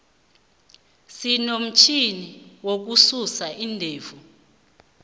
sinomutjhini wokususa iindevu